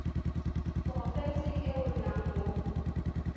porofenseng e o nnang mo